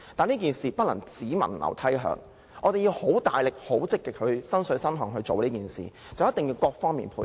這件事不能"只聞樓梯響"，我們要很努力、很積極、"身水身汗"去做這件事，並要各方面配合。